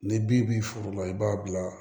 Ni bin b'i furu la i b'a bila